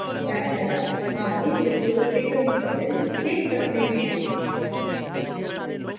दायीं तरफ हम इस रिपॉज़िटरी का url देख सकते हैं